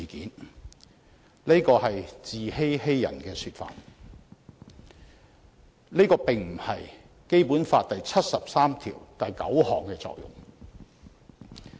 然而，這只是自欺欺人的說法，亦並非《基本法》第七十三條第九項的作用。